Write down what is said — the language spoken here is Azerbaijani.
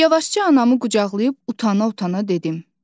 Yavaşca anamı qucaqlayıb utana-utana dedim.